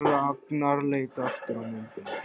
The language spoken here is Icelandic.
Ragnar leit aftur á myndina.